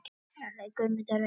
Guðmundur Eggertsson.